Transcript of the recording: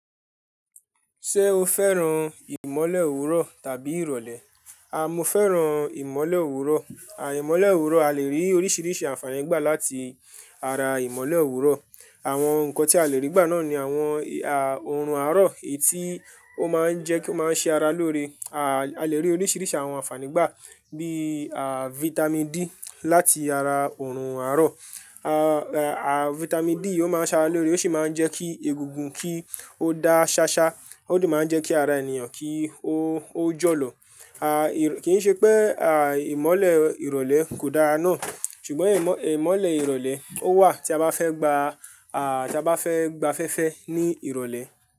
Ṣé o fẹ́ràn ìmọ́lẹ̀ òwúrọ̀ tàbí ìrọ̀lẹ́? Mo fẹ́ràn ìmọ́lẹ̀ òwúrọ̀. Imọ́lẹ̀ òwúrọ̀, a lè rí oríṣiríṣi àfààní gbà láti ara ìmọ́lẹ̀ òwúrọ̀. Àwọn ǹkan tí a lè rí gbà náà ni àwọn òòrùn àárọ̀ etí ó máa ń jẹ́ kí ó máa ń ṣe ara lóore. A lè rí oríṣiríṣi àwọn àfààní gbà bíi Vitamin D láti ara òòrùn àárọ̀. Vitamin D yì ó máa ń ṣara lóore, ó sì máa ń jẹ́ kí egungun kí ó dá ṣáṣá, ó dè máa ń jẹ́ kí ara ènìyàn kí ó ó jọ lọ. Kíì ṣe pé ìmọ́lẹ̀ ìrọ̀lẹ́ kò dára náà, ṣùgbọ́n ìmọ́ ìmọ́lẹ̀ ìrọ̀lẹ́ ó wà tí a bá fẹ́ gba tí a bá fẹ́ gba fẹ́fẹ́ ní ìrọ̀lẹ́